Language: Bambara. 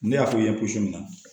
Ne y'a f'u ye